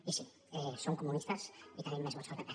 i sí som comunistes i tenim més vots que el pp